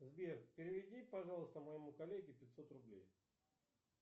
сбер переведи пожалуйста моему коллеге пятьсот рублей